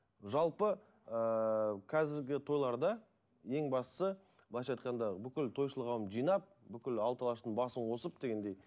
жалпы ыыы қазіргі тойларда ең бастысы былайша айтқанда бүкіл тойшыл қауымды жинап бүкіл алты алаштың басын қосып дегендей